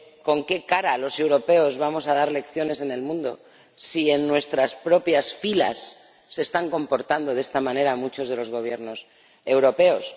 ¿Con qué cara los europeos vamos a dar lecciones en el mundo si en nuestras propias filas se están comportando de esta manera muchos de los Gobiernos europeos?